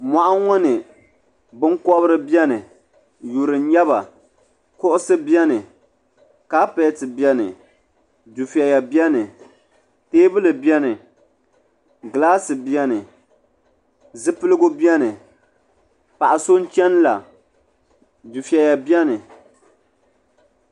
Moɣu ŋɔ ni binkobri biɛni yuri n nyɛ ba kuɣusi biɛni kapeti biɛni dufeya biɛni teebuli biɛni gilaasi biɛni zipiligu biɛni paɣa so n cheni la dufeya biɛni.